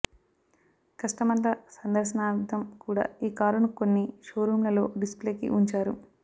కస్టమర్ల సందర్శనార్థం కూడా ఈ కారును కొన్ని షోరూమ్లలో డిస్ప్లేకి ఉంచారు